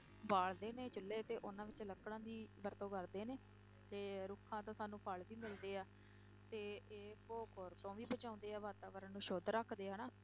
ਬਾਲਦੇ ਨੇ ਚੁੱਲੇ ਤੇ, ਉਹਨਾਂ ਵਿੱਚ ਲੱਕੜਾਂ ਦੀ ਵਰਤੋਂ ਕਰਦੇ ਨੇ, ਤੇ ਰੁੱਖਾਂ ਤੋਂ ਸਾਨੂੰ ਫਲ ਵੀ ਮਿਲਦੇ ਆ, ਤੇ ਇਹ ਭੂ-ਖੋਰ ਤੋਂ ਵੀ ਬਚਾਉਂਦੇ ਆ ਵਾਤਾਵਰਨ ਨੂੰ ਸੁੱਧ ਰੱਖਦੇ ਆ ਹਨਾ